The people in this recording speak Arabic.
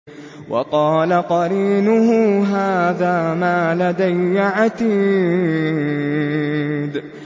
وَقَالَ قَرِينُهُ هَٰذَا مَا لَدَيَّ عَتِيدٌ